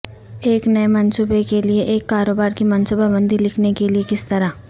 ایک نئے منصوبے کے لئے ایک کاروبار کی منصوبہ بندی لکھنے کے لئے کس طرح